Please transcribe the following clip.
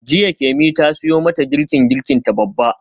Jiya Kemi ta siyo mata girkin girkinta babba.